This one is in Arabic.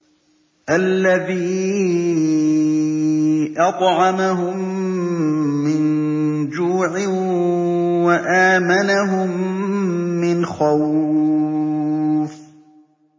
الَّذِي أَطْعَمَهُم مِّن جُوعٍ وَآمَنَهُم مِّنْ خَوْفٍ